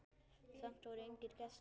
Samt voru engir gestir.